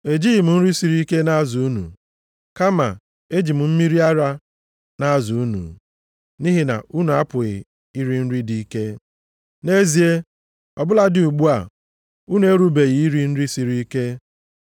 Ejighị m nri siri ike na-azụ unu, kama eji m mmiri ara na-azụ unu, nʼihi na unu apụghị iri nri dị ike. Nʼezie, ọ bụladị ugbu a, unu erubeghị iri nri siri ike.